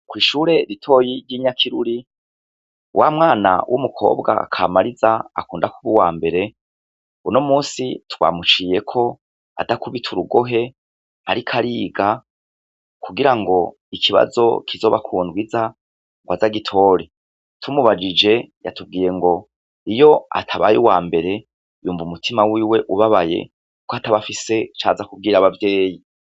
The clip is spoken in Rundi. Kw'ishure ritoya ry'inyakiruri wa mwana kamariza yiga mu wa mbere, uno munsi twamuceyeko adakubita urugohe, ariko ariga kugirango ikibazo kizoba kundw'ize agitore, iyo atabaye uwa mbere yumv'umutima wiwe ubabaye kukwataba afise icaza kubwira Abavyeyi.